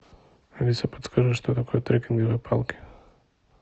алиса подскажи что такое трекинговые палки